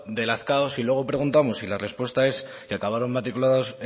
de lazkao si luego preguntamos y la respuesta es que acabaron matriculados